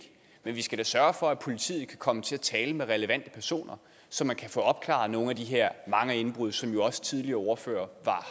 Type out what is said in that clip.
men vi skal da sørge for at politiet kan komme til at tale med relevante personer så man kan få opklaret nogle af de her mange indbrud som jo også tidligere ordførere